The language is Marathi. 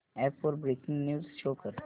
अॅप वर ब्रेकिंग न्यूज शो कर